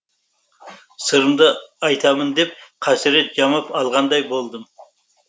сырымды айтамын деп қасірет жамап алғандай болдым